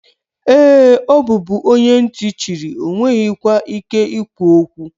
Ee, ọ bụbu onye ntị chiri, ọ nweghịkwa ike ikwu okwu.